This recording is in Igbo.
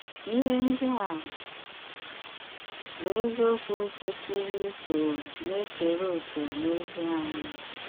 Íhé ndí à bụ́ ézíòkwù kwesírè ísó ná-ékeré òké n’òzí ányị́.